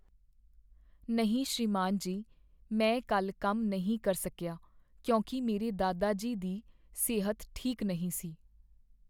ਨਹੀਂ ਸ੍ਰੀਮਾਨ ਜੀ, ਮੈਂ ਕੱਲ੍ਹ ਕੰਮ ਨਹੀਂ ਕਰ ਸਕੀਆ ਕਿਉਂਕਿ ਮੇਰੇ ਦਾਦਾ ਜੀ ਦੀ ਸਿਹਤ ਠੀਕ ਨਹੀਂ ਸੀ।